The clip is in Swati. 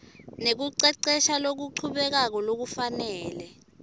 nekucecesha lokuchubekako kufanele